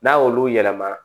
N'a y'olu yɛlɛma